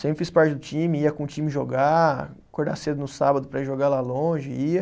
Sempre fiz parte do time, ia com o time jogar, acordar cedo no sábado para ir jogar lá longe, ia.